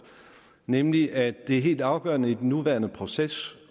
nemlig at det er helt afgørende i den nuværende proces